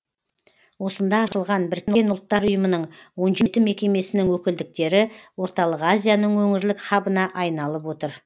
осында ашылған біріккен ұлттар ұйымының он жеті мекемесінің өкілдіктері орталық азияның өңірлік хабына айналып отыр